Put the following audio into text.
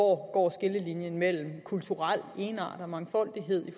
hvor skillelinjen mellem kulturel egenart og mangfoldighed